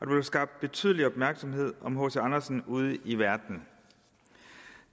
blev skabt betydelig opmærksomhed om hc andersen ude i verden